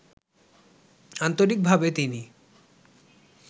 আন্তরিকভাবে তিনি